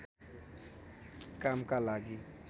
कामका लागि